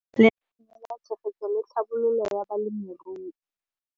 Lenaane la Tshegetso le Tlhabololo ya Balemirui.